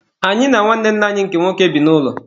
Anyị na nwanne nna anyi nke nwoke bi n'ụlọ.